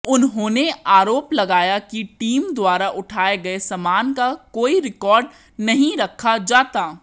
उन्होंने आरोप लगाया कि टीम द्वारा उठाये गये सामान का कोई रिकाॅर्ड नहीं रखा जाता